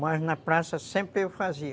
Mas na praça sempre eu fazia.